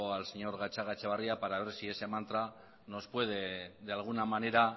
al señor gatzagaetxebarria para ver si ese mantra nos puede de alguna manera